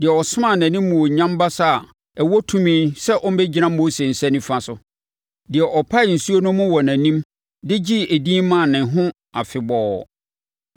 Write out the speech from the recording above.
Deɛ ɔsomaa nʼanimuonyam basa a ɛwɔ tumi sɛ ɔmmɛgyina Mose nsa nifa so, deɛ ɔpaee nsuo no mu wɔ wɔn anim, de gyee edin maa ne ho afebɔɔ,